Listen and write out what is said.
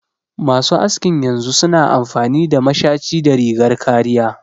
Masu askin yanzu su na amfani da mashaci da rigar kariya